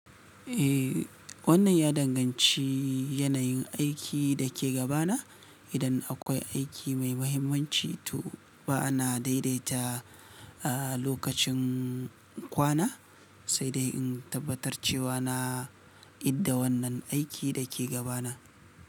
Eh, wannan ya danganci yanayin aikin da ke gaba na. Idan akwai aiki mai mahimmanci, to ba ana daidaita a lokacin kwana, sai dai in tabbatar cewa na idda wannan aikin da ke gaba na.